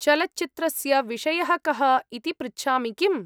चलच्चित्रस्य विषयः कः इति पृच्छामि किम्?